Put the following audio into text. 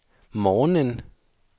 morgenen